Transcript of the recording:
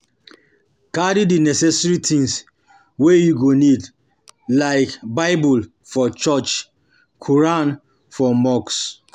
Carry di neccessary things wey you go need like bible for church, quran for mosque